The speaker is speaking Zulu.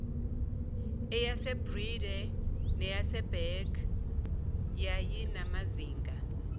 eyasebreede neyaseberg yayinamazinga